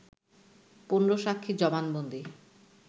১৫ সাক্ষীর জবানবন্দি